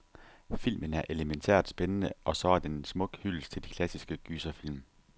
Filmen er elemæntært spændende, og så er den en smuk hyldest til de klassiske gyserfilm.